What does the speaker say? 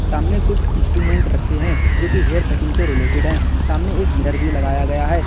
हमने कुछ इंस्ट्रूमेंट रखे हैं जोकि हेयर कटिंग से रिलेटेड है सामने एक मिरर भी लगाया गया है।